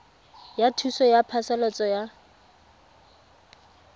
ya thuso ya phasalatso ya